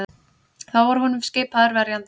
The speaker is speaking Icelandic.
Þá var honum skipaður verjandi